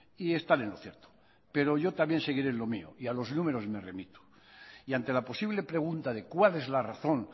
y están en lo cierto pero yo también seguiré en lo mío y a los números me remito y ante la posible pregunta de cuál es la razón